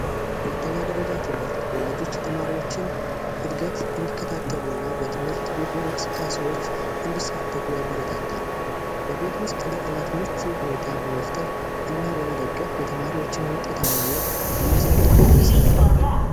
ሁለተኛ ደረጃ ትምህርት ወላጆች የተማሪዎችን ዕድገት እንዲከታተሉ እና በትምህርት ቤቱ እንቅስቃ ሴዎች እንዲሳተፉ ያበረታታል። በቤት ውስጥ ለጠናት ምቹ ሁኔታ በመፍጠር እና በመደገፍ የተማሪዎችን ውጤት ማነት ለማሳደግ ይሠራል።